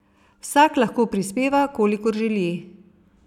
Vsak lahko prispeva, kolikor želi.